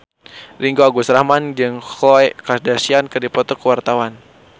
Ringgo Agus Rahman jeung Khloe Kardashian keur dipoto ku wartawan